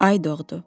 Ay doğdu.